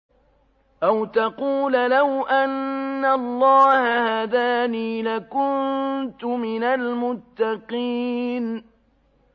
أَوْ تَقُولَ لَوْ أَنَّ اللَّهَ هَدَانِي لَكُنتُ مِنَ الْمُتَّقِينَ